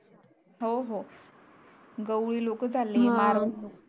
हो हो गवळी लोक चाले मारवाडी लोक